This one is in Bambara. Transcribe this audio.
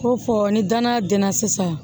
Ko fɔ ni danaya dɛnna sisan